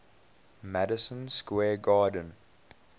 madison square garden